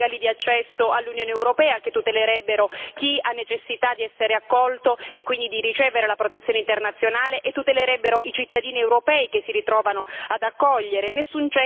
nessun cenno alle vie legali di accesso all'Unione europea, che tutelerebbero chi ha necessità di essere accolto e quindi di ricevere la protezione internazionale e tutelerebbero i cittadini europei che si ritrovano ad accogliere